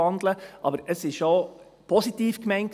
Aber mein Vorstoss war positiv gemeint.